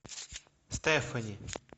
стефани